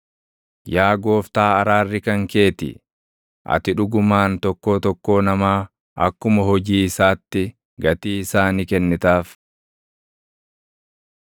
Yaa Gooftaa araarri kan kee ti. Ati dhugumaan tokkoo tokkoo namaa akkuma hojii isaatti gatii isaa ni kennitaaf.